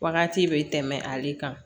Wagati bɛ tɛmɛ ale kan